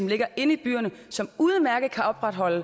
ligger inde i byerne og som udmærket kan opretholde